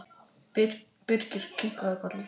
Birkir kinkaði kolli.